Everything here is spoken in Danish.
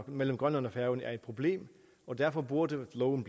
mellem grønland og færøerne er et problem og derfor burde loven